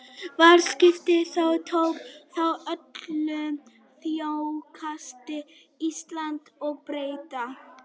Varðskipið Þór tók þátt í öllum þorskastríðum Íslendinga og Breta.